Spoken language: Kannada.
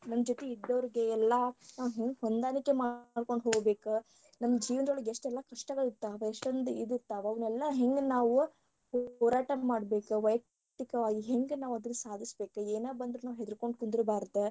ನಮ್ಮ ಜೊತಿ ಇದ್ದೋರಿಗೆ ಎಲ್ಲಾ ನಾವ ಹೆಂಗ ಹೊಂದಾಣಿಕೆ ಮಾಡ್ಕೊಂಡ ಹೋಗ್ಬೇಕ ನಮಗ ಜೀವನದೊಳ್ಗ ಎಷ್ಟೆಲ್ಲಾ ಕಷ್ಟಗಳ ಇರ್ತಾವ ಎಷ್ಟೊಂದ ಇದ ಇರ್ತಾವ ಅದೆಲ್ಲಾ ಹೆಂಗ ನಾವ ಹೊರಟಾ ಮಾಡ್ಬೇಕ ವಯಕ್ತಿಕವಾಗಿ ಹೆಂಗ ನಾವ ಅದನ್ನ ಸಾಧಸಬೇಕ ಏನ ಬಂದರು ನಾವ ಹೆದರಿಕೊಂಡ ಕುಂದರಬಾರದ.